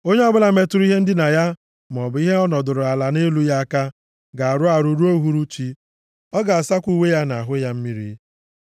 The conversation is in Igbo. Onye ọbụla metụrụ ihe ndina ya maọbụ ihe ọ nọdụrụ ala nʼelu ya aka, ga-arụ arụ ruo uhuruchi. Ọ ga-asakwa uwe ya na ahụ ya mmiri.